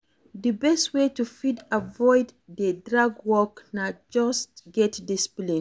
di best wey to fit avoid to dey drag work na to just get discipline